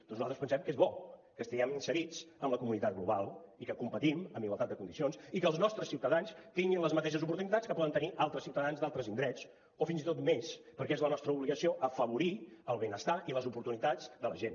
doncs nosaltres pensem que és bo que estiguem inserits en la comunitat global i que competim amb igualtat de condicions i que els nostres ciutadans tinguin les mateixes oportunitats que poden tenir altres ciutadans d’altres indrets o fins i tot més perquè és la nostra obligació afavorir el benestar i les oportunitats de la gent